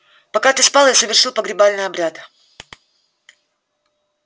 пока ты спал я совершил погребальный обряд